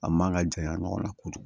A man ka janya ɲɔgɔn na kojugu